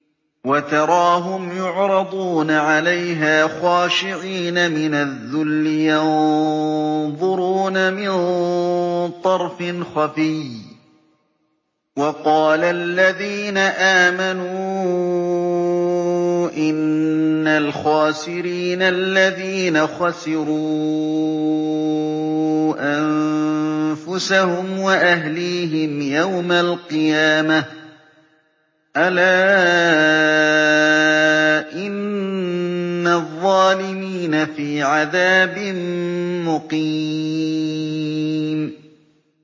وَتَرَاهُمْ يُعْرَضُونَ عَلَيْهَا خَاشِعِينَ مِنَ الذُّلِّ يَنظُرُونَ مِن طَرْفٍ خَفِيٍّ ۗ وَقَالَ الَّذِينَ آمَنُوا إِنَّ الْخَاسِرِينَ الَّذِينَ خَسِرُوا أَنفُسَهُمْ وَأَهْلِيهِمْ يَوْمَ الْقِيَامَةِ ۗ أَلَا إِنَّ الظَّالِمِينَ فِي عَذَابٍ مُّقِيمٍ